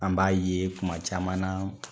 An b'a ye kuma caman na